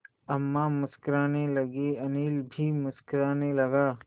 अम्मा मुस्कराने लगीं अनिल भी मुस्कराने लगा